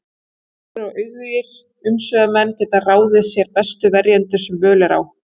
Þekktir og auðugir umsvifamenn geta ráðið sér bestu verjendur sem völ er á.